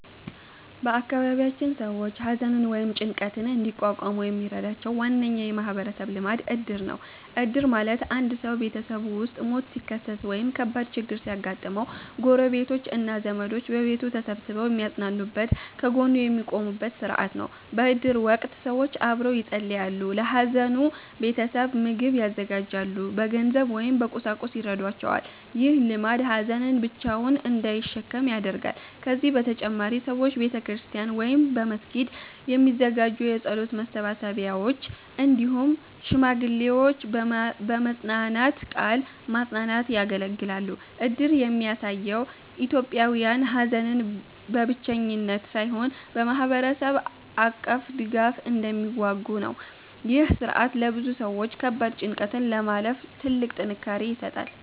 በአካባቢያችን ሰዎች ሐዘንን ወይም ጭንቀትን እንዲቋቋሙ የሚረዳቸው ዋነኛ የማህበረሰብ ልማድ እድር ነው። እድር ማለት አንድ ሰው ቤተሰቡ ውስጥ ሞት ሲከሰት ወይም ከባድ ችግር ሲያጋጥመው፣ ጎረቤቶች እና ዘመዶች በቤቱ ተሰብስበው የሚያጽናኑበት፣ ከጎኑ የሚቆሙበት ሥርዓት ነው። በእድር ወቅት ሰዎች አብረው ይጸልያሉ፣ ለሐዘኑ ቤተሰብ ምግብ ያዘጋጃሉ፣ በገንዘብ ወይም በቁሳቁስ ይረዷቸዋል። ይህ ልማድ ሀዘንን ብቻውን እንዳይሸከም ያደርጋል። ከዚህ በተጨማሪ ሰዎች በቤተክርስቲያን ወይም በመስጊድ የሚዘጋጁ የጸሎት መሰብሰቢያዎች፣ እንዲሁም ሽማግሌዎች በመጽናናት ቃል ማጽናናት ያገለግላሉ። እድር የሚያሳየው ኢትዮጵያውያን ሐዘንን በብቸኝነት ሳይሆን በማህበረሰብ አቀፍ ድጋፍ እንደሚዋጉ ነው። ይህ ሥርዓት ለብዙ ሰዎች ከባድ ጭንቀትን ለማለፍ ትልቅ ጥንካሬ ይሰጣል።